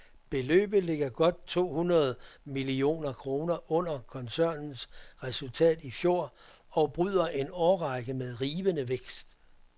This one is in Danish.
Beløbet ligger godt to hundrede millioner kroner under koncernens resultat i fjor og bryder en årrække med rivende vækst.